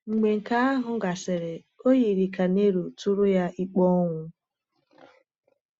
Mgbe nke ahụ gasịrị, o yiri ka Nero tụrụ ya ikpe ọnwụ.